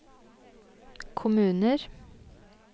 kommuner